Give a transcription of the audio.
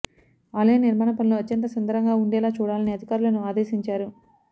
ఆలయ నిర్మాణ పనులు అత్యంత సుందరంగా ఉండేలా చూడాలని అధికారులను ఆదేశించారు